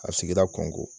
A bɛ sigida kɔngɔ